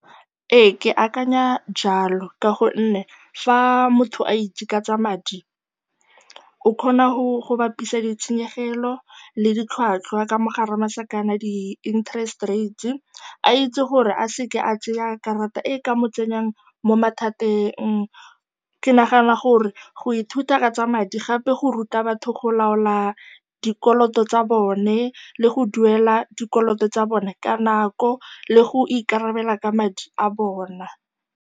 Ee, ke akanya jalo ka gonne fa motho a itse ka tsa madi o kgona go bapisa ditshenyegelo le ditlhwatlhwa, ka mo gare ga masakana, di-interest rate, a itse gore a se ke a tsaya karata e e ka mo tsenyang mo mathateng. Ke nagana gore go ithuta ka tsa madi gape go ruta batho go laola dikoloto tsa bone le go duela dikoloto tsa bone ka nako le go ikarabela ka madi a bona.